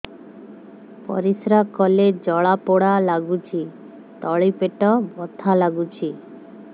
ପରିଶ୍ରା କଲେ ଜଳା ପୋଡା ଲାଗୁଚି ତଳି ପେଟ ବଥା ଲାଗୁଛି